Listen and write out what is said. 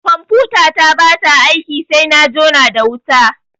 Confutata ba ta aiki sai na jona da wuta.